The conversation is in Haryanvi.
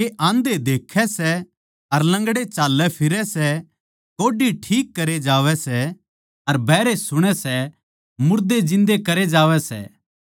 के आंधे देक्खैं सै अर लंगड़े चाल्लैफिरै सै कोढ़ी ठीक करे जावै सै अर बहरे सुणै सै मुर्दे जिन्दे करे जावै सै